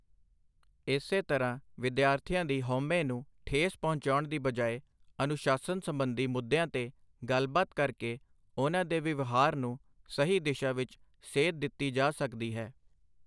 ਇਸੇ ਤਰ੍ਹਾਂ ਵਿਦਿਆਰਥੀਆਂ ਦੀ ਹਉਮੈ ਨੂੰ ਠੇਸ ਪਹੁੰਚਾਉਣ ਦੀ ਬਜਾਏ ਅਨੁਸ਼ਾਸਨ ਸਬੰਧੀ ਮੁੱਦਿਆਂ ਤੇ ਗੱਲਬਾਤ ਕਰਕੇ ਉਨ੍ਹਾਂ ਦੇ ਵਿਵਹਾਰ ਨੂੰ ਸਹੀ ਦਿਸ਼ਾ ਵਿੱਚ ਸੇਧ ਦਿੱਤੀ ਜਾ ਸਕਦੀ ਹੈ।